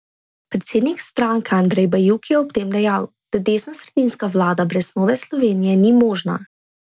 Predsednik stranke Andrej Bajuk je ob tem dejal, da desnosredinska vlada brez Nove Slovenije ni možna.